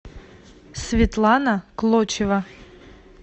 светлана клочева